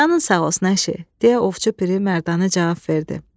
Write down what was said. Canın sağ olsun, əşi, deyə Ovçu Piri mərdanə cavab verdi.